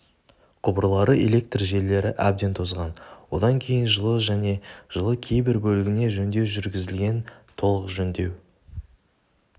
құбырлары электр желілері әбден тозған одан кейін жылы және жылы кейбір бөлігіне жөндеу жүргізілген толық жөндеу